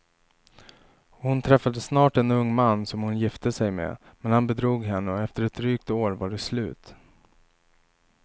Hon träffade snart en ung man som hon gifte sig med, men han bedrog henne och efter ett drygt år var det slut.